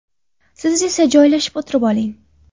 Siz esa joylashib o‘tirib oling.